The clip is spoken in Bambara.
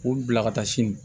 K'u bila ka taa sini